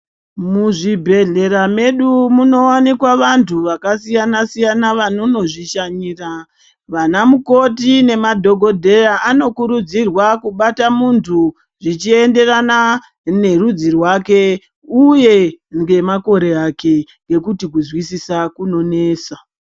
Muzvibhedhlera medu munovanikwa vantu vakasiyana-siyana vanono zvishanyira. Vana mukoti nemadhogodheya anokurudzirwa kubata muntu zvichienderana nerudzi rwake, uye ngemakore ake ngekuti kuzwisisa kunonesa.